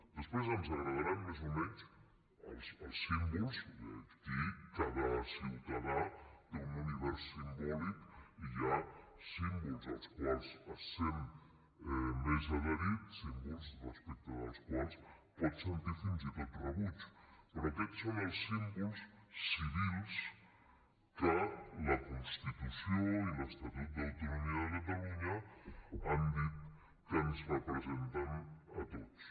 després ens agradaran més o menys els símbols aquí cada ciutadà té un univers simbòlic hi ha símbols als quals es sent més adherit símbols respecte dels quals pot sentir fins i tot rebuig però aquests són els símbols civils que la constitució i l’estatut d’autonomia de catalunya han dit que ens representen a tots